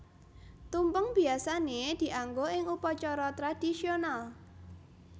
Tumpeng biyasané dianggo ing upacara tradisional